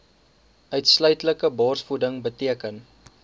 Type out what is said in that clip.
uitsluitlike borsvoeding beteken